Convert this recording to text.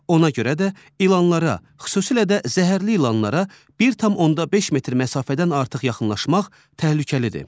Ona görə də ilanlara, xüsusilə də zəhərli ilanlara 1.5 metr məsafədən artıq yaxınlaşmaq təhlükəlidir.